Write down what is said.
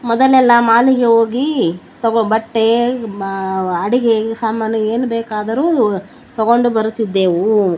ಮೊದಲೆಲ್ಲ ಮಾಲಿಗೆ ಹೋಗಿ ಬಟ್ಟೆ ಮ ಅಡಿಗೆ ಸಾಮಾನು ಏನು ಬೇಕಾದರೂ ತಗೊಂಡ್ ಬರ್ತಾ ಇದ್ದೆವು.